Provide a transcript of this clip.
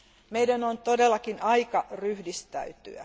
Meidän on todellakin aika ryhdistäytyä.